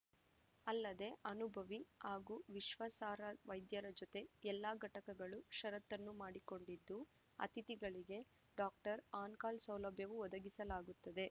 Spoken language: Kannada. ಅಲ್ಲದೆ ಅನುಭವಿ ಹಾಗೂ ವಿಶ್ವಾಸಾರ್ಹ ವೈದ್ಯರ ಜತೆ ಎಲ್ಲ ಘಟಕಗಳು ಷರತ್ತನ್ನು ಮಾಡಿಕೊಂಡಿದ್ದು ಅತಿಥಿಗಳಿಗೆ ಡಾಕ್ಟರ್‌ ಆನ್‌ ಕಾಲ್‌ ಸೌಲಭ್ಯವೂ ಒದಗಿಸಲಾಗುತ್ತದೆ